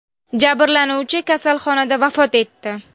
Jabrlanuvchi kasalxonada vafot etdi.